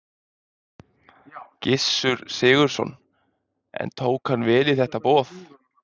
Gissur Sigurðsson: En tók hann vel í þetta boð?